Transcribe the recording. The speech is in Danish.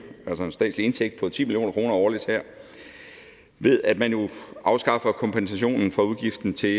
altså en statslig indtægt på ti million kroner årligt her ved at man afskaffer kompensationen for udgiften til